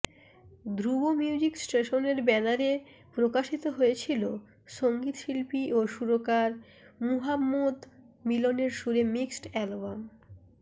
ধ্রুব music স্টেশনের ব্যানারে প্রকাশিত হয়েছিলো সঙ্গীত শিল্পী ও সুরকার মুহাম্মদ মিলনের সুরে মিক্সড অ্যালবাম